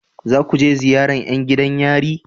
Za ku je ziyaran yan gidan yari?